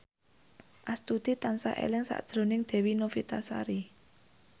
Astuti tansah eling sakjroning Dewi Novitasari